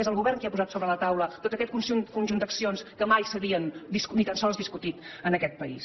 és el govern qui ha posat sobre la taula tot aquest conjunt d’accions que mai s’havien ni tan sols discutit en aquest país